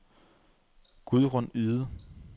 Gudrun Yde